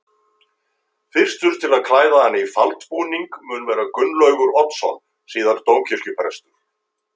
Fyrstur til að klæða hana í faldbúning mun vera Gunnlaugur Oddsson síðar dómkirkjuprestur.